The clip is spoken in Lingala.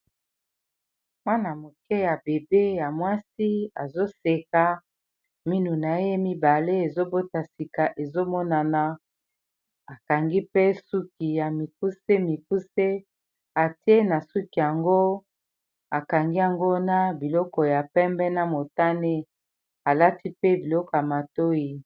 mwana-moke ya bebe ya mwasi azoseka minu na ye mibale ezobota sika ezomonana akangi mpe suki ya mikuse mikuse atie na suki yango akangi yangona biloko ya pembe na motane alati mpe biloko ya matoi